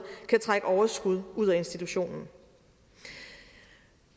kan trække overskud ud af institutionen